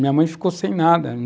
Minha mãe ficou sem nada.